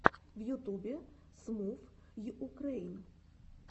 в ютубе смувйукрэйн